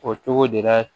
O cogo de la